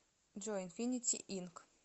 джой инфинити инк